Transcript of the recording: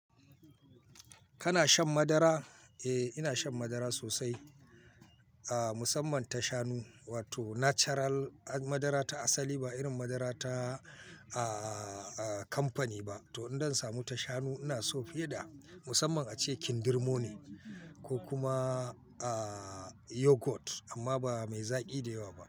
Kana shan madara? Eh, ina shan madara sosai. Aaa musamman tashanu wato natural madara ta asali ba irin madara ta aa kamfani ba. To idan zan samu tashanu ina so fiye da musamman ace kindirmo ne ko kuma aa yogurt amma ba mai zaƙi da yawa ba.